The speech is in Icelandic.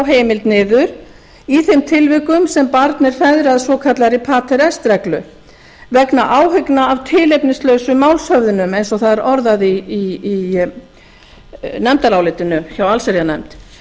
heimild niður í þeim tilvikum sem barn er feðrað svokallaðri pater reglu vegna áhyggna af tilefnislausum málshöfðunum eins og það er orðað í nefndarálitinu hjá allsherjarnefnd